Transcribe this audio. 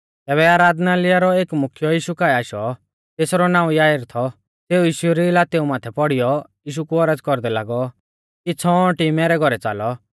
तैबै आराधनालय रौ एक मुख्यौ यीशु काऐ आशौ तेसरौ नाऊं याईर थौ सेऊ यीशु री लातेऊ माथै पौड़ीयौ यीशु कु औरज़ कौरदै लागौ कि छ़ौंअटी मैरै घौरै च़ालौ